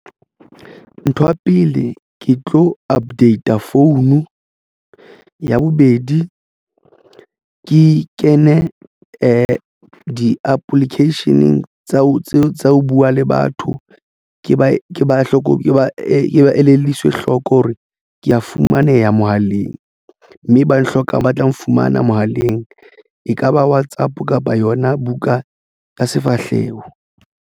Ntho ya pele ke tlo update-a phone. Ya bobedi ke kene di-application tsa ho buwa le batho ke ba ke ba hloko ba elelliswa hloko hore ke fumaneha mohaleng mme ba hlokang ba tla nfumana mohaleng. Ekaba WhatsApp kapa yona buka ka sefahleho.